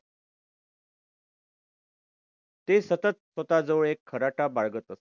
ते सतत स्वतःजवळ एक खराटा बाळगत असे.